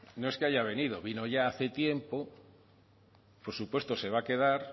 no es que haya venido vino ya hace tiempo por supuesto se va a quedar